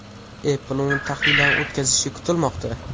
Apple uni tahlildan o‘tkazishi kutilmoqda.